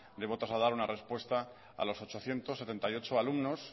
debo trasladar una respuesta a los ochocientos setenta y ocho alumnos